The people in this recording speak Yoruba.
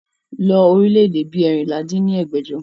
lọ orílẹ̀ èdè bí eérinlá dín ní ẹgbẹ́jọ!